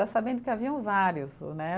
Já sabendo que haviam vários, né?